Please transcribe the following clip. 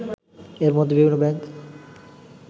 এরমধ্যে বিভিন্ন ব্যাংক